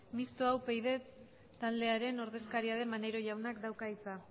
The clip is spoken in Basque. mistoa upyd taldearen ordezkaria den maneiro jaunak dauka hitza